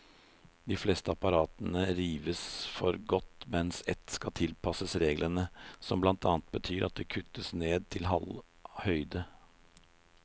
De fleste apparatene rives for godt, mens ett skal tilpasses reglene, som blant annet betyr at det kuttes ned til halv høyde.